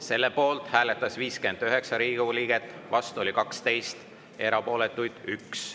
Selle poolt hääletas 59 Riigikogu liiget, vastu 12, erapooletuid oli 1.